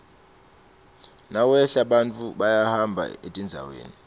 nawehla bantfu bayahamba etindzaweni